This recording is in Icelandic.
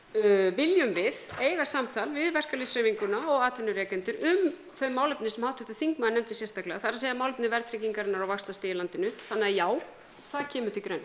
viljum við eiga samtal við verkalýðshreyfinguna og atvinnurekendur um þau málefni sem háttvirtur þingmaður nefndi sérstaklega það er málefni verðtryggingar og vaxtastigs í landinu þannig að já það kemur til greina